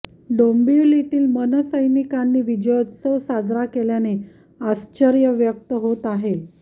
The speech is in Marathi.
डोंबिवलीत मनसैनिकांनी विजयोत्सव साजरा केल्याने आश्चर्य व्यक्त होत आहे